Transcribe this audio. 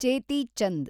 ಚೇತಿ ಚಂದ್